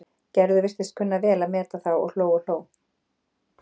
Gerður virtist kunna vel að meta þá og hló og hló.